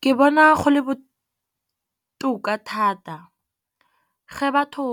Ke bona go le botoka thata ge batho